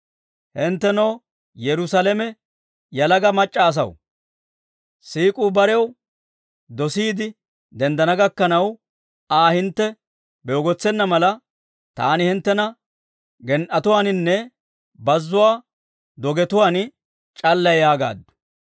Hinttenoo Yerusaalame yalaga mac'c'a asaw, siik'uu barew dosiide denddana gakkanaw, Aa hintte beegotsena mala, taani hinttena gen"etuwaaninne bazzuwaa dogetuwaan c'allay yaagaaddu.